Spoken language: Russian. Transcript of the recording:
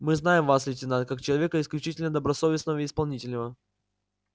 мы знаем вас лейтенант как человека исключительно добросовестного и исполнительного